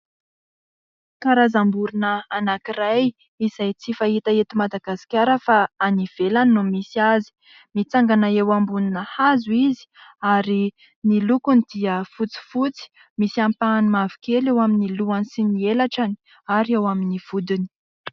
Karazam-borona anankiray izay tsy fahita eto Madagasikara fa any ivelany no misy azy, mitsangana eo ambonina hazo izy ary ny lokony dia fotsifotsy, misy ampahany mavokely eo amin'ny lohany sy ny elatrany ary eo amin'ny vodiny.